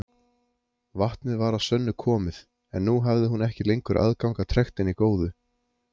Vatnið var að sönnu komið, en nú hafði hún ekki lengur aðgang að trektinni góðu.